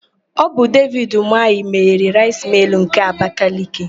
Ọ bụ Devid Ụmahị meghere Raịs Mịịl nke Abakaliki,